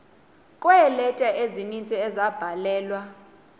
kweeleta ezininzi ezabhalelwa